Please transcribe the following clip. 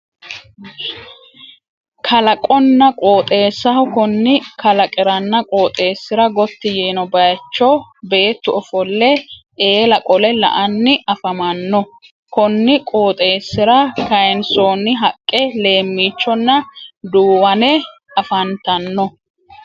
Kalaqonna qoxeessaho, konni kalaqiranna qooxeessira gotti yiino baayicho beettu ofolle eela qole la'anni afamanno. Konni qooxeessira kaaynsoonni haqqe leemmichonna duuwane afantanno.